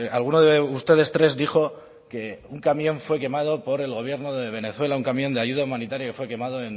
alguno de ustedes tres dijo que un camión fue quemado por el gobierno de venezuela un camión de ayuda humanitaria que fue quemado